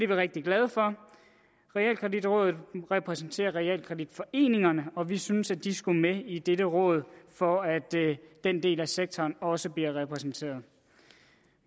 vi rigtig glade for realkreditrådet repræsenterer realkreditforeningerne og vi synes at de skulle med i dette råd for at den del af sektoren også bliver repræsenteret